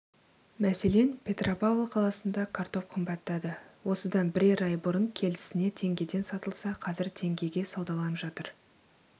мәселен петропавл қаласында картоп қымбаттады осыдан бірер ай бұрын келісіне теңгеден сатылса қазір теңгеге саудаланып жатыр